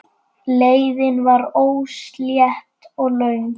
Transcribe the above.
Leiðin var óslétt og löng.